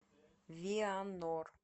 вианор